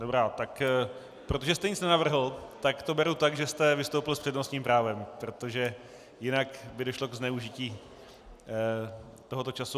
Dobrá, tak protože jste nic nenavrhl, tak to beru tak, že jste vystoupil s přednostním právem, protože jinak by došlo ke zneužití tohoto času.